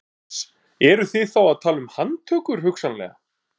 Jóhannes: Eruð þið þá að tala um handtökur hugsanlega?